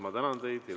Ma tänan teid!